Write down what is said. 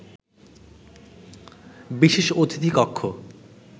বিশেষ অতিথি কক্ষ